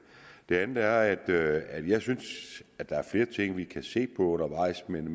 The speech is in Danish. det andet er at at jeg synes at der er flere ting vi kan se på undervejs men